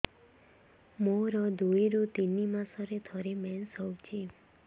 ମୋର ଦୁଇରୁ ତିନି ମାସରେ ଥରେ ମେନ୍ସ ହଉଚି